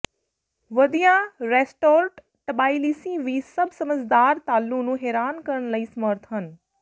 ਵਧੀਆ restaurant Tbilisi ਵੀ ਸਭ ਸਮਝਦਾਰ ਤਾਲੂ ਨੂੰ ਹੈਰਾਨ ਕਰਨ ਲਈ ਸਮਰੱਥ ਹਨ